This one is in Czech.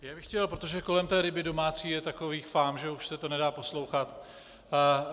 Já bych chtěl, protože kolem té ryby domácí je takových fám, že už se to nedá poslouchat.